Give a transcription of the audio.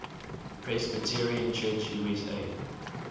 presbyterian church usa